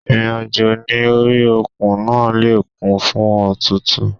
Ìrìn àjò ní orí òkun náà le kún fún òtútù.